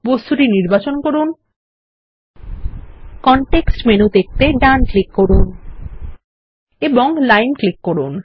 বস্তুটি নির্বাচন করুন কনটেক্সট মেনু দেখতে ডান ক্লিক করুন এবং লাইন ক্লিক করুন